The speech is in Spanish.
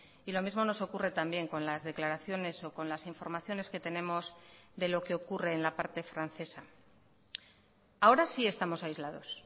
y lo mismo nos ocurre también con las declaraciones o con las informaciones que tenemos de lo que ocurre en la parte francesa ahora sí estamos aislados